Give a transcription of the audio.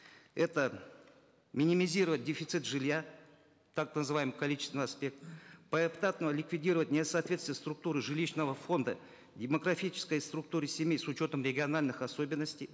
это минимизировать дефицит жилья так называемый количественный аспект поэтапно ликвидировать несоответствие структуры жилищного фонда демографической структуре семьи с учетом региональных особенностей